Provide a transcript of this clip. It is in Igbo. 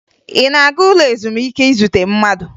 Ị na-aga ụlọ ezumike izute mmadụ?